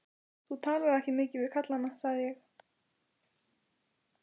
Þú talar ekki mikið við kallana, sagði ég.